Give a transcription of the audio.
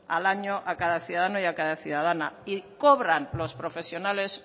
al año a cada ciudadano y a cada ciudadana y cobran los profesionales